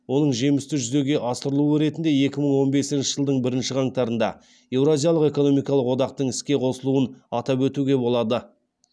оның жемісті жүзеге асырылуы ретінде екі мың он бесінші жылдың бірінші қаңтарында еуразиялық экономикалық одақтың іске қосылуын атап өтуге болады